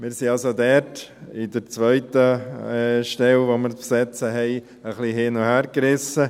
Wir sind also bei der zweiten Stelle, die wir zu besetzen haben, etwas hin- und hergerissen.